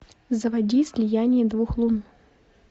заводи слияние двух лун